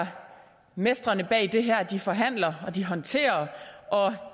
mestrene bag det her de forhandler de håndterer og